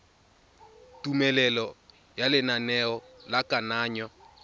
tumelelo ya lenaneo la kananyo